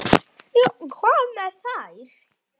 Já, hvað með þær?